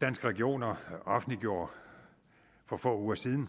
danske regioner offentliggjorde for få uger siden